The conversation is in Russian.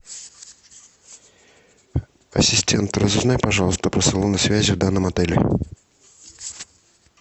ассистент разузнай пожалуйста про салоны связи в данном отеле